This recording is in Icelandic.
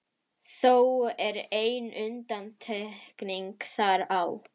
Þó er ein undantekning þar á.